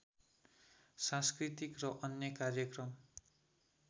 सांस्कृतिक र अन्य कार्यक्रम